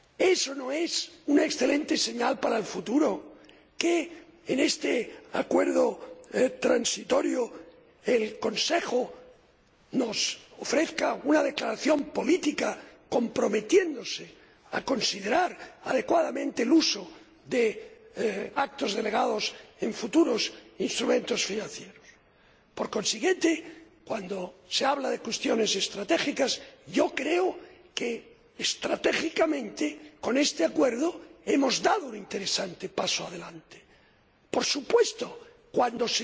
¿Es o no es una excelente señal para el futuro que en este acuerdo transitorio el Consejo nos ofrezca una declaración política, por la que se compromete a considerar adecuadamente el uso de actos delegados en futuros instrumentos de financiación? Por consiguiente, cuando se habla de cuestiones estratégicas, yo creo que, estratégicamente, con este acuerdo hemos dado un interesante paso adelante. Por supuesto, cuando